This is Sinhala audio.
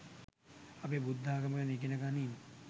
අපේ බුද්ධාගම ගැන ඉගෙන ගනින්